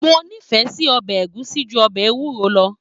Mo nifẹ sí ọbẹ ẹ̀gúsí jù ọbẹ ewúro lọ.